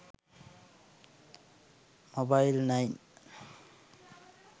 mobile9